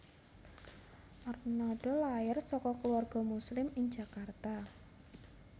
Arnada lair saka keluarga Muslim ing Jakarta